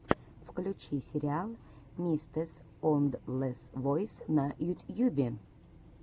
включи сериал мистэсоундлэсвойс на ютьюбе